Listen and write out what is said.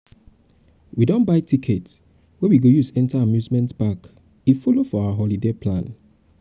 we don buy ticket wey we go use enter amusement park e follow for our holiday plan.